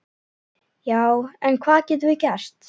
Já, en hvað getum við gert?